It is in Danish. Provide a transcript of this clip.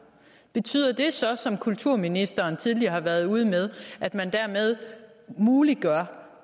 betyder det så som kulturministeren tidligere har været ude med at man dermed muliggør